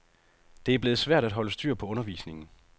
Det er blevet svært at holde styr på undervisningen.